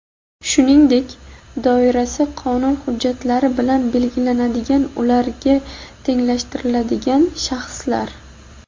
shuningdek doirasi qonun hujjatlari bilan belgilanadigan ularga tenglashtirilgan shaxslar.